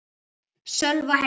Sölva heim.